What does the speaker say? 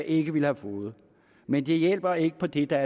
ikke ville have fået men det hjælper ikke på det der